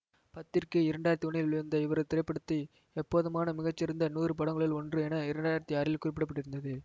பத்திரிகை இரண்டு ஆயிரத்தி ஒன்றில் வெளிவந்த இவரது திரைப்படத்தை எப்போதுமான மிகச்சிறந்த நூறு படங்களுள் ஒன்று என இரண்டு ஆயிரத்தி ஆறில் குறிப்பிட பட்டிருந்தது